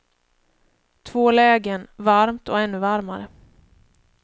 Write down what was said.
Två lägen, varmt och ännu varmare.